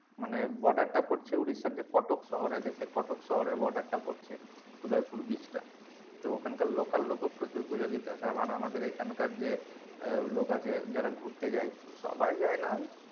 মানে border টা পড়ছে ওড়িশার যে কটক শহর আছে সেই কটক শহরে border টা পড়ছে উদয়পুর beach টা তো ওখানকার local লোক ও প্রচুর পূজো দিতে আসে আবার আমাদের এখানকার যে আহ লোক আছে যারা ঘুরতে যায় সবাই যায়না,